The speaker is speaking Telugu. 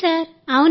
అవును సార్